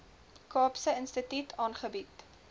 kaapse instituut aangebied